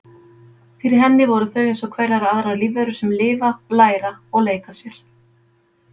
Fyrir henni voru þau eins og hverjar aðrar lífverur sem lifa, læra og leika sér.